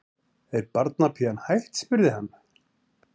Er barnapían hætt? spurði hann.